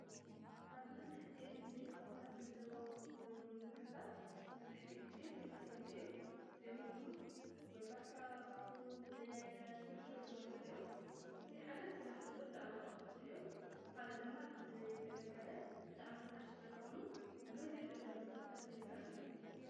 ኣብ መብዛሕቲአን ቤት ምግብታት ለለዉ፣ ምግብታት ብዙሓት ጊዜ ተመሳሰልቲ እዮም፡፡ እዚኦም ደማ ወይ ፋታ፣ ፉል ብያይነት ፣ፍርፍር ዝመሳሰሉ እዮም፡፡ እዚ ሓደ ትስራሕ ተሎ ብጣዕሚ ቐልጠፍቲ እዮም፡፡ ሓደ ደማ ለዝተገልጋላይ ብጣዕሚ ርካሽ ስለልኾኑ ኣብ መዝሕቲኦም እንዳ ምግብታት ለይሳኣኑ እዮም፡፡